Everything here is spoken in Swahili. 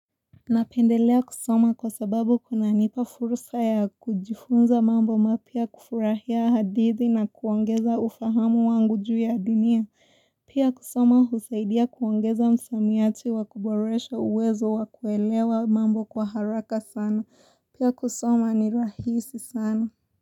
Napendelea kusoma kwa sababu kunanipa fursa ya kujifunza mambo mapya kufurahia hadithi na kuongeza ufahamu wangu juu ya dunia. Pia kusoma husaidia kuongeza msamiati wakuboresha uwezo wakuelewa mambo kwa haraka sana. Pia kusoma ni rahisi sana.